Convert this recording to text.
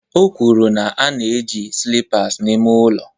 O kwuru na ana-eji slippers eme ihe n'ụlọ